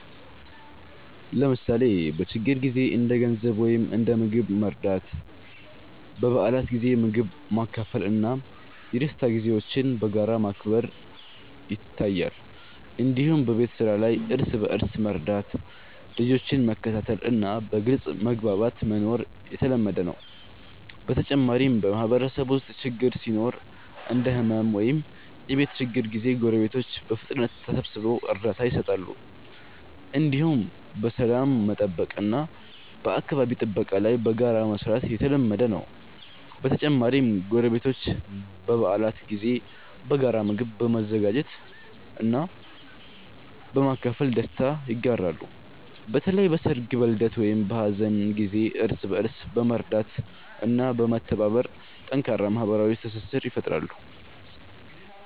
ለምሳሌ በችግር ጊዜ እንደ ገንዘብ ወይም እንደ ምግብ መርዳት፣ በበዓላት ጊዜ ምግብ ማካፈል እና የደስታ ጊዜዎችን በጋራ ማክበር ይታያል። እንዲሁም በቤት ስራ ላይ እርስ በእርስ መርዳት፣ ልጆችን መከታተል እና በግልጽ መግባባት መኖር የተለመደ ነው። በተጨማሪም በማህበረሰብ ውስጥ ችግር ሲኖር እንደ ሕመም ወይም የቤት ችግር ጊዜ ጎረቤቶች በፍጥነት ተሰብስበው እርዳታ ይሰጣሉ። እንዲሁም በሰላም መጠበቅ እና በአካባቢ ጥበቃ ላይ በጋራ መስራት የተለመደ ነው። በተጨማሪም ጎረቤቶች በበዓላት ጊዜ በጋራ ምግብ በመዘጋጀት እና በማካፈል ደስታ ይጋራሉ። በተለይ በሰርግ፣ በልደት ወይም በሀዘን ጊዜ እርስ በእርስ በመርዳት እና በመተባበር ጠንካራ ማህበራዊ ትስስር ይፈጥራሉ።